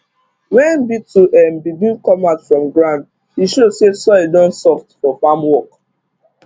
when beetle um begin come out from ground e show say soil don soft for farm work